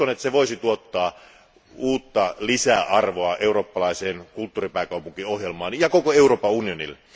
Uskon, että se voisi tuottaa uutta lisäarvoa eurooppalaiseen kulttuuripääkaupunkiohjelmaan ja koko Euroopan unionille.